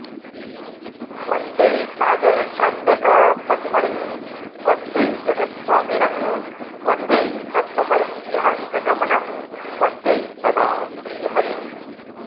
वन्दे सागरकन्यकापतिमणिं वन्दे जगत्स्वामिनं वन्दे सत्त्वमयं विहङ्गगमनं वन्दे सदा श्रीहरिम्